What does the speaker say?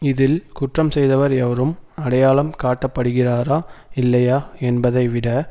இதில் குற்றம் செய்தவர் எவரும் அடையாளம் காட்டப்படுகிறாரா இல்லையா என்பதைவிட